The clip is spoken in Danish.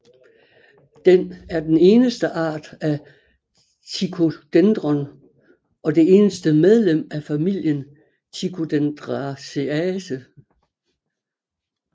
Den er den eneste art af Ticodendron og det eneste medlem af familien Ticodendraceae